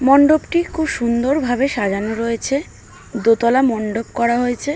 মণ্ডপটি খুব সুন্দরভাবে সাজানো রয়েছে দোতলা মণ্ডপ করা হয়েছে।